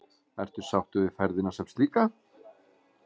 Ertu því sáttur við ferðina sem slíka?